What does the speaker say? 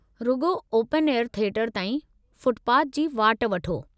रुॻो open air theatre ताईं footpath जी वाट वठो।